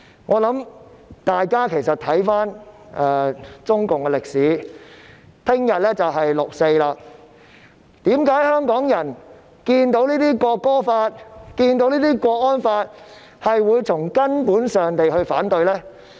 我想請大家看看中共的歷史，明天便是6月4日，香港人看到《條例草案》及港區國安法時，為何會從根本上反對呢？